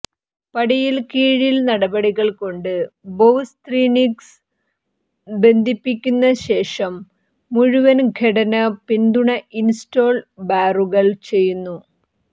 പടിയിൽ കീഴിൽ നടപടികൾ കൊണ്ട് ബൊവ്സ്ത്രിന്ഗ്സ് ബന്ധിപ്പിക്കുന്ന ശേഷം മുഴുവൻ ഘടന പിന്തുണ ഇൻസ്റ്റോൾ ബാറുകൾ ചെയ്യുന്നു